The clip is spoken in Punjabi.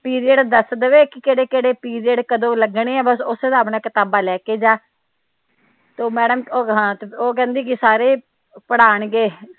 ਪੀਰੀਅਡ ਦਸ ਦਵੇ ਕੇ ਕਿਹੜੇ ਕਿਹੜੇ ਪੀਰੀਅਡ ਕਦੋ ਲੱਗਣੇ ਵਾ ਬਸ ਓਸੇ ਸਾਬ ਨਾਲ ਕਿਤਾਬਾਂ ਲੈ ਕੇ ਜਾ ਉਹ ਮੈਡਮ ਉਹ ਕਹਿੰਦੀ ਕੇ ਸਾਰੇ ਪ੍ਰਾਣ ਗੇ।